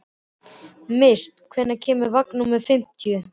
Mist, hvenær kemur vagn númer fimmtíu?